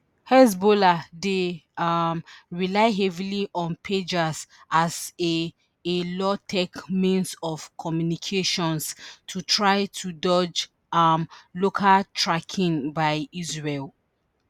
hezbollah dey um rely heavily on pagers as a a low-tech means of communications to try to dodge um location-tracking by israel.